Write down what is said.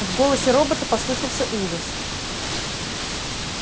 в голосе робота послышался ужас